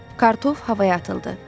Kartof havaya atıldı.